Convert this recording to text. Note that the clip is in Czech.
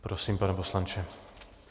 Prosím, pane poslanče.